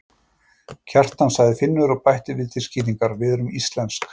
Kjartan, sagði Finnur og bætti við til skýringar: Við erum íslensk.